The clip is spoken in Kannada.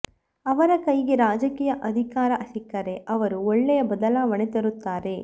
ಅವರ ಕೈಗೆ ರಾಜಕೀಯ ಅಧಿಕಾರ ಸಿಕ್ಕರೆ ಅವರು ಒಳ್ಳೆಯ ಬದಲಾವಣೆ ತರುತ್ತಾರೆ